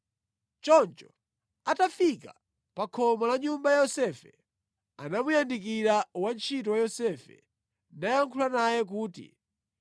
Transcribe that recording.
Choncho atafika pa khomo la nyumba ya Yosefe anamuyandikira wantchito wa Yosefe nayankhula naye kuti,